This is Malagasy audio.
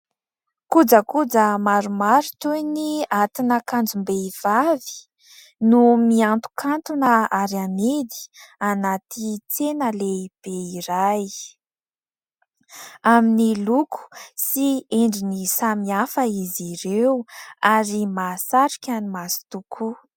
Kojakoja maromaro toy ny atin'akanjom-behivavy no miantokantona ary amidy anaty tsena lehibe iray. Amin'ny loko sy endriny samihafa izy ireo ary mahasarika ny maso tokoa.